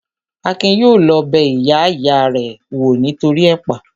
Akin yóò lọ bẹ ìyá ìya rẹ̀ wò nítoríi ẹ̀pà